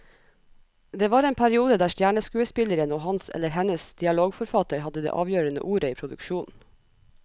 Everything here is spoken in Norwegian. Det var en periode der stjerneskuespilleren og hans eller hennes dialogforfatter hadde det avgjørende ordet i produksjonen.